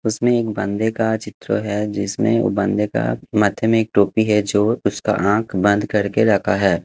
उसमें एक बंदे का चित्र है जिसमें वो बंदे का माथे में एक टोपी है जो उसका आँख बंद करके रखा है।